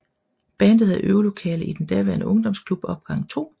Bandet havde øvelokale i den daværende ungdomsklub opgang2